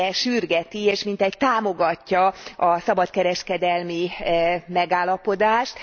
sürgeti és mintegy támogatja a szabadkereskedelmi megállapodást.